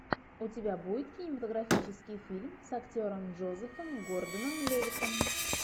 у тебя будет кинематографический фильм с актером джозефом гордоном левиттом